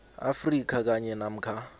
afrika kanye namkha